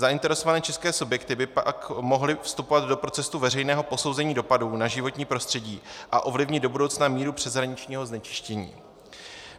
Zainteresované české subjekty by pak mohly vstupovat do procesu veřejného posouzení dopadů na životní prostředí a ovlivnit do budoucna míru přeshraničního znečistění.